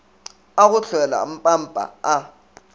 a go hlwela mpampa a